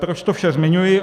Proč to vše zmiňuji?